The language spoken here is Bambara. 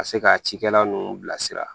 Ka se ka cikɛla ninnu bilasira